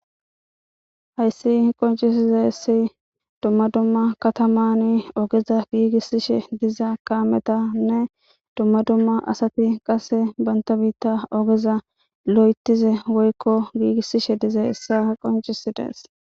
Hayssi qoncisizessi dumma dumma katamani ogeza giigissishe diza kaametanne dumma dumma asati qaase banta biitta ogeza lo7etize woykko giigissishe dize issa qoncisidees.